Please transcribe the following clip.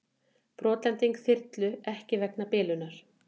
Brotlending þyrlu ekki vegna bilunar